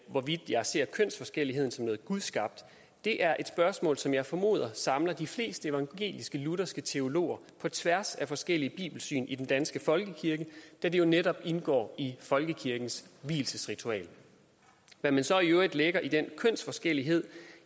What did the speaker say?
hvorvidt jeg ser kønsforskelligheden som noget gudskabt er det er et spørgsmål som jeg formoder samler de fleste evangelisk lutherske teologer på tværs af forskellige bibelsyn i den danske folkekirke da det jo netop indgår i folkekirkens vielsesritual hvad man så i øvrigt lægger i den kønsforskellighed